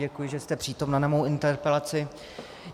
Děkuji, že jste přítomna na moji interpelaci.